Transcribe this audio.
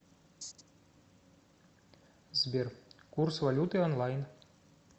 сбер курс валюты онлайн